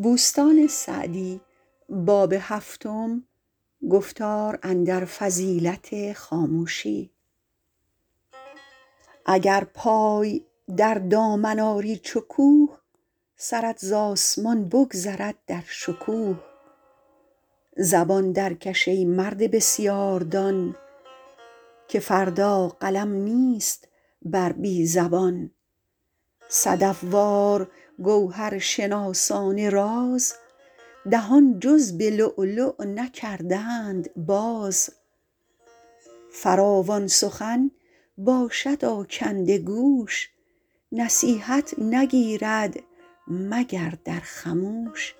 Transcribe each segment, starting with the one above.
اگر پای در دامن آری چو کوه سرت ز آسمان بگذرد در شکوه زبان درکش ای مرد بسیار دان که فردا قلم نیست بر بی زبان صدف وار گوهرشناسان راز دهان جز به لؤلؤ نکردند باز فراوان سخن باشد آکنده گوش نصیحت نگیرد مگر در خموش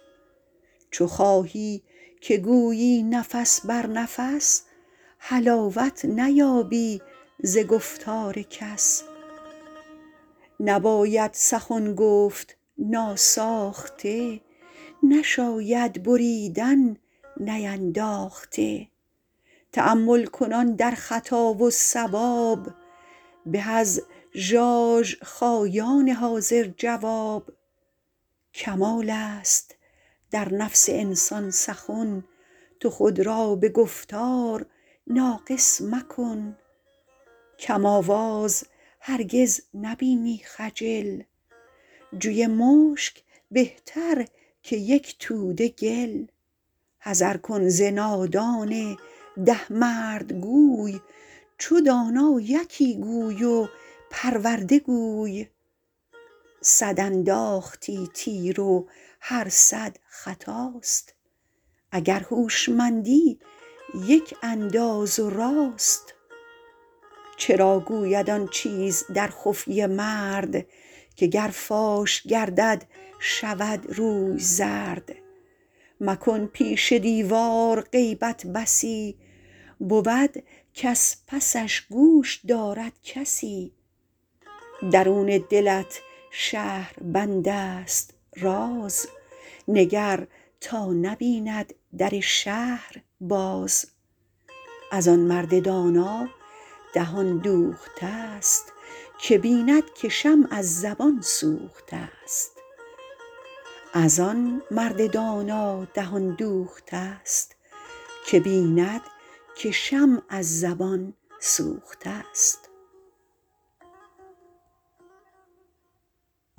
چو خواهی که گویی نفس بر نفس حلاوت نیابی ز گفتار کس نباید سخن گفت ناساخته نشاید بریدن نینداخته تأمل کنان در خطا و صواب به از ژاژخایان حاضر جواب کمال است در نفس انسان سخن تو خود را به گفتار ناقص مکن کم آواز هرگز نبینی خجل جوی مشک بهتر که یک توده گل حذر کن ز نادان ده مرده گوی چو دانا یکی گوی و پرورده گوی صد انداختی تیر و هر صد خطاست اگر هوشمندی یک انداز و راست چرا گوید آن چیز در خفیه مرد که گر فاش گردد شود روی زرد مکن پیش دیوار غیبت بسی بود کز پسش گوش دارد کسی درون دلت شهربند است راز نگر تا نبیند در شهر باز از آن مرد دانا دهان دوخته است که بیند که شمع از زبان سوخته است